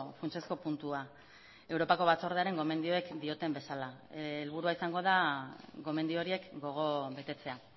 funtsezko puntua europako batzordearen gomendioek dioten bezala helburua izango da gomendio horiek gogo betetzea